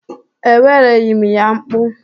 Ewereghị m ya mkpu.